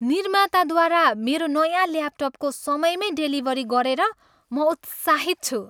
निर्माताद्वारा मेरो नयाँ ल्यापटपको समयमै डेलिभरी गरेर म उत्साहित छु।